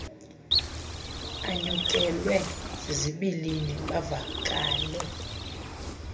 anyukelwe zizibilini bavakale